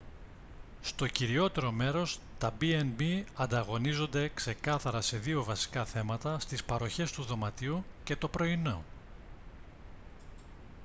στο κυριότερο μέρος τα b&b ανταγωνίζονται ξεκάθαρα σε δύο βασικά θέματα στις παροχές του δωματίου και το πρωινό